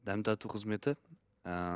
дәм тату қызмет ыыы